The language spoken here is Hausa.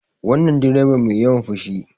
Wannan direban mai yawan fushi